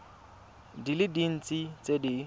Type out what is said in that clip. di le dintsi tse di